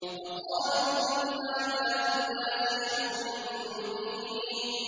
وَقَالُوا إِنْ هَٰذَا إِلَّا سِحْرٌ مُّبِينٌ